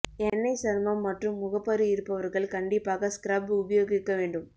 எண்ணெய் சருமம் மற்றும் முகப்பரு இருப்பவர்கள் கண்டிப்பாக ஸ்க்ரப் உபயோகிக்க வேண்டும்